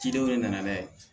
Cidenw de nana